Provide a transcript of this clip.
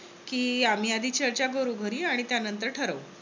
कि आम्ही आधी चर्चा करू घरी आणि त्यानंतर ठरवू.